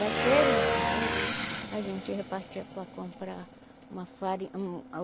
Daquele dinheiro, a gente repartia para comprar uma fari um